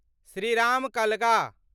Shriram Kalga